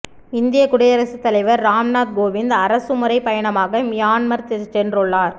இந்திய குடியரசுத் தலைவர் ராம்நாத் கோவிந்த் அரசுமுறை பயணமாக மியான்மர் சென்றுள்ளார்